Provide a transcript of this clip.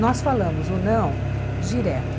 Nós falamos o não direto.